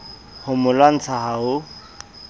ho mo lwantsha ha ho